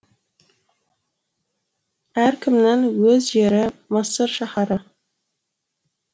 әркімнің өз жері мысыр шаһары